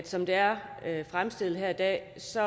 som det er fremstillet her i dag så